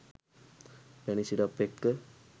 පැණි සිරප් එක්ක